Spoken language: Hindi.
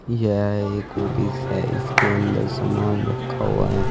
यह एक ऑफिस हैं इसके अंदर सामान रखा हुआ है।